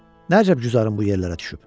Nə əcəb güzarın bu yerlərə düşüb?